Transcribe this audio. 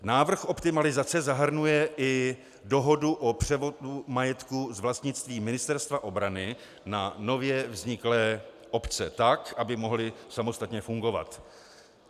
Návrh optimalizace zahrnuje i dohodu o převodu majetku z vlastnictví Ministerstva obrany na nově vzniklé obce tak, aby mohly samostatně fungovat.